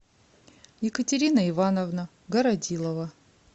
екатерина ивановна городилова